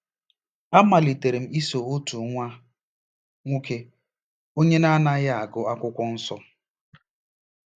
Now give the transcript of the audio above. A malitere m iso otu nwa nwoke onye na-anaghị agụ Akwụkwọ Nsọ.